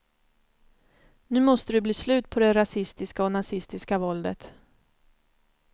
Nu måste det bli slut på det rasistiska och nazistiska våldet.